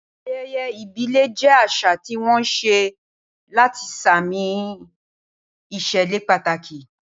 Ayẹyẹ ìbílẹ̀ jẹ́ àṣà tí wọ́n ṣe láti ṣààmì ìṣẹ̀lẹ̀ pàtàkì